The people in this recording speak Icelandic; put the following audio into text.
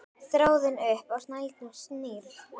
Þráðinn upp á snældu snýr.